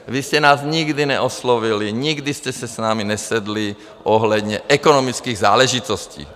Vy jste nás nikdy neoslovili, nikdy jste si s námi nesedli ohledně ekonomických záležitostí.